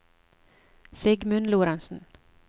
Sigmund Lorentzen